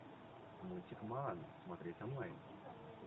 мультик моана смотреть онлайн